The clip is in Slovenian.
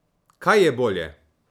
Kaj je bolje?